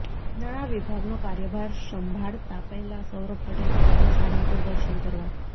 નાણાં વિભાગનો કાર્યભાર સંભાળતા પહેલા સૌરભ પટેલ પહોંચ્યાં સાળંગપુર દર્શન કરવા